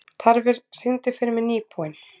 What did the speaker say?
Tarfur, syngdu fyrir mig „Nýbúinn“.